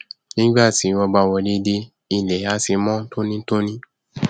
nígbà tí wọn bá wọlé dé ilẹ á ti mọn tónítóní